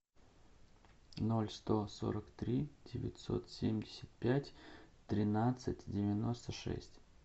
ноль сто сорок три девятьсот семьдесят пять тринадцать девяносто шесть